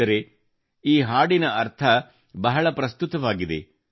ಸ್ನೇಹಿತರೇ ಈ ಹಾಡಿನ ಅರ್ಥ ಬಹಳ ಪ್ರಸ್ತುತವಾಗಿದೆ